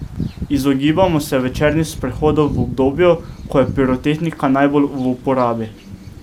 Izogibamo se večernih sprehodov v obdobju, ko je pirotehnika najbolj v uporabi.